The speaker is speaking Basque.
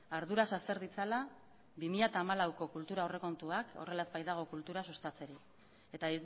arduraz azter ditzala bi mila hamalauko kultura aurrekontuak horrela ez baitako kultura sustatzerik eta